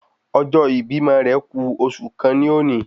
Ọjọ́ ibímọ rẹ̀ ku oṣù kan ní ọ̀ni